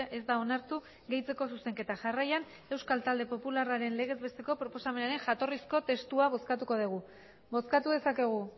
ez da onartu gehitzeko zuzenketa jarraian euskal talde popularraren legez besteko proposamenaren jatorrizko testua bozkatuko dugu bozkatu dezakegu